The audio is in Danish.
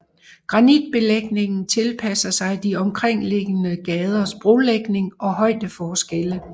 Granitbelægningen tilpasser sig de omkringliggende gaders brolægning og højdeforskelle